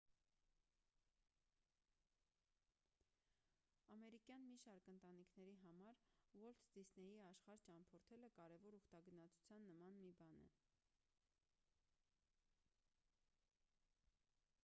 ամերիկյան մի շարք ընտանիքների համար ուոլթ դիսնեյի աշխարհ ճամփորդելը կարևոր ուխտագնացության նման մի բան է